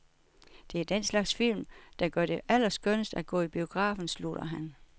Det er den slags film, der gør det allerskønnest at gå i biografen, slutter han.